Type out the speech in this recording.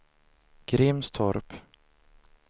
Grimstorp